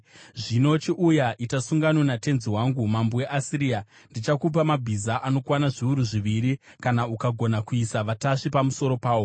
“ ‘Zvino chiuya, ita sungano natenzi wangu, mambo weAsiria: Ndichakupa mabhiza anokwana zviuru zviviri, kana ukagona kuisa vatasvi pamusoro pawo!